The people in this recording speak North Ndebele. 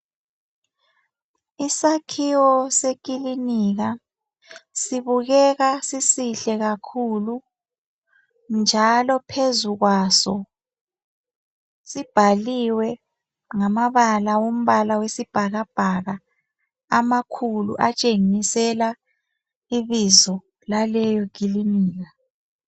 Isakhiwo sekilinika sibukeka sisihle kakhulu njalo phezukwaso sibhaliwe ngamabala esibhakaka amakhulu atshengisela ibizo laleyo kilinika.